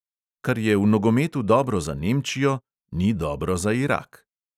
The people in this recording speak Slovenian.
Kar je v nogometu dobro za nemčijo, ni dobro za irak.